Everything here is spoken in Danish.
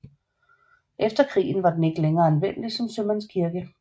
Efter krigen var den ikke længere anvendelig som sømandskirke